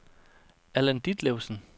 Allan Ditlevsen